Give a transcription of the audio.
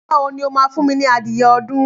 Nígbà wo ni o máa fún mi ní adìyẹ ọdún?